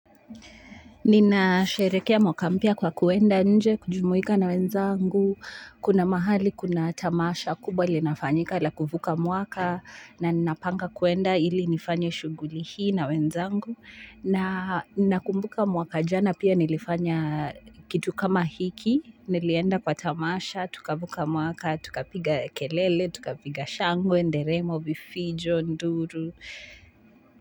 Ninasherehekea mwaka mpya kwa kuenda nje, kujumuika na wenzangu, kuna mahali, kuna tamasha, kubwa linafanyika, la kuvuka mwaka, na ninapanga kuenda ili nifanye shughuli hii na wenzangu, na nakumbuka mwaka jana pia nilifanya kitu kama hiki, nilienda kwa tamasha, tukavuka mwaka, tukapiga kelele, tukapiga shangwe, nderemo, vifijo, nduru.